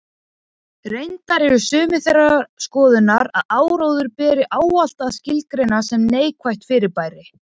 Reyndar eru sumir þeirrar skoðunar að áróður beri ávallt að skilgreina sem neikvætt fyrirbæri.